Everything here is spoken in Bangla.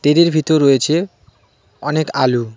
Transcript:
টেরির ভিতর রয়েছে অনেক আলু .